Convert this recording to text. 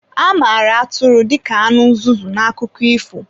A mara Atụrụ dịka anụ nzuzu n'akụkọ ifo.